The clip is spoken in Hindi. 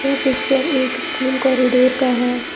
यह पिक्चर एक स्कूल कॉरिडोर का है।